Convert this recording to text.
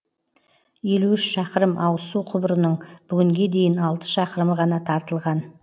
елу үш шақырым ауызсу құбырының бүгінге дейін алты шақырымы ғана тартылған